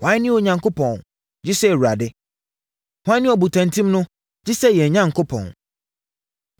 Hwan ne Onyankopɔn, gye sɛ Awurade? Hwan ne ɔbotantim no, gye sɛ yɛn Onyankopɔn?